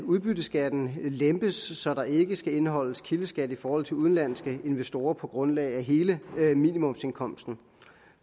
udbytteskatten lempes så der ikke skal indeholdes kildeskat i forhold til udenlandske investorer på grundlag af hele minimumsindkomsten